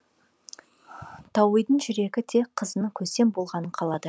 тауидың жүрегі тек қызының көсем болғанын қалады